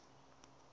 xi nga ta va xi